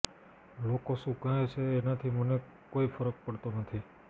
લોકો શું કહે છે એનાથી મને કોઈ ફરક પડતો નથી